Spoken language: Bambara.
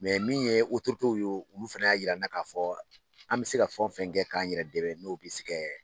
min ye tew ye olu fana y'a yir'an na k'a fɔ an bɛ se ka fɛn o fɛn kɛ k'an yɛrɛ dɛ n'o bɛ se ka